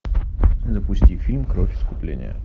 запусти фильм кровь искупления